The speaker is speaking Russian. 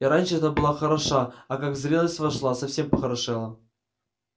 и раньше-то была хороша а как в зрелость вошла совсем похорошела